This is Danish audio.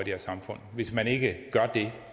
her samfund hvis man ikke gør det